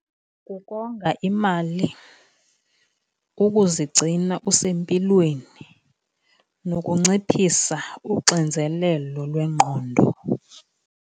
Kukonga imali, kukuzigcina usempilweni, nokunciphisa uxinzelelo lwengqondo.